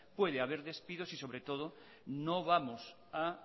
puede haber despidos y sobre todo no vamos a